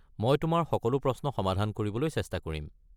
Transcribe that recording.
মই তোমাৰ সকলো প্ৰশ্ন সমাধান কৰিবলৈ চেষ্টা কৰিম।